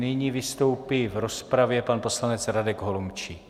Nyní vystoupí v rozpravě pan poslanec Radek Holomčík.